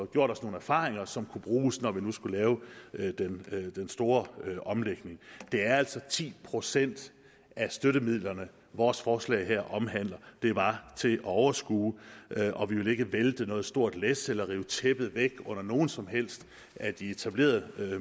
gjort os nogle erfaringer som kunne bruges når vi nu skulle lave den store omlægning det er altså ti procent af støttemidlerne vores forslag her omhandler det var til at overskue og vi ville ikke vælte noget stort læs eller rive tæppet væk under nogen som helst af de etablerede